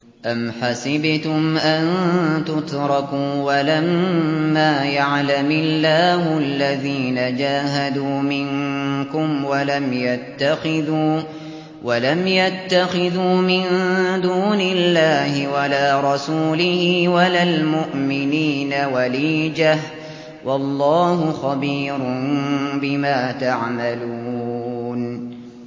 أَمْ حَسِبْتُمْ أَن تُتْرَكُوا وَلَمَّا يَعْلَمِ اللَّهُ الَّذِينَ جَاهَدُوا مِنكُمْ وَلَمْ يَتَّخِذُوا مِن دُونِ اللَّهِ وَلَا رَسُولِهِ وَلَا الْمُؤْمِنِينَ وَلِيجَةً ۚ وَاللَّهُ خَبِيرٌ بِمَا تَعْمَلُونَ